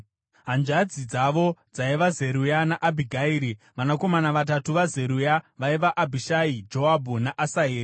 Hanzvadzi dzavo dzaiva Zeruya naAbhigairi. Vanakomana vatatu vaZeruya vaiva Abhishai, Joabhu naAsaheri.